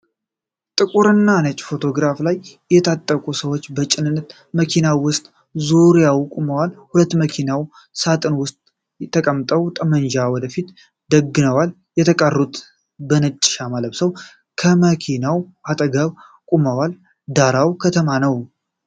ጥቁርና ነጭ ፎቶግራፍ ላይ የታጠቁ ሰዎች በጭነት መኪና ውስጥና ዙሪያው ቆመዋል። ሁለቱ በመኪናው ሳጥን ውስጥ ተቀምጠው ጠመንጃ ወደ ፊት ደግነዋል። የተቀሩት በነጭ ሻማ ለብሰው ከመኪናው አጠገብ ቆመዋል። ዳራው ከተማ ነው።